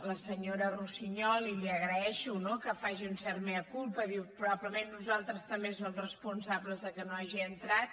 la senyora russiñol i li agraeixo que faci no un cert mea culpa diu probablement nosaltres també som responsables que no hagi entrat